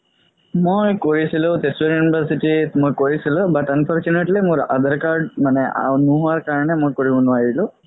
মই গৈ আছিলো তেজপুৰ university ত মই কৰিছিলো but unfortunately মোৰ আধাৰ card নুহুৱাৰ কাৰণে মই কৰিব নোৱাৰিলো